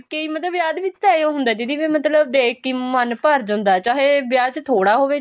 ਕੇ ਵਿਆਹ ਦੇ ਵਿੱਚ ਤਾਂ ਏਹੋ ਹੁੰਦਾ ਦੀਦੀ ਮਤਲਬ ਦੇਖਕੇ ਮਨ ਭਰ ਜਾਂਦਾ ਏ ਚਾਹੇ ਵਿਆਹ ਚ ਥੋੜਾ ਹੋਵੇ